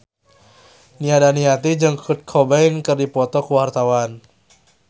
Nia Daniati jeung Kurt Cobain keur dipoto ku wartawan